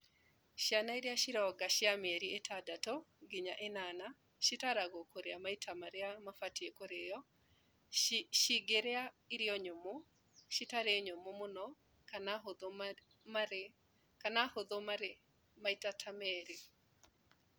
Ciana iria cironga cia mĩeri ĩtandatũ nginya ĩnana citaragwo kũrĩa maita marĩa mabatiĩ kũrĩo cingĩrĩa irio nyũmũ, citarĩ nyũmũ mũno kana hũthũ marĩ maita ta meerì